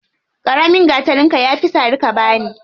Ƙaramin gatarinka ya fi sari ka bani.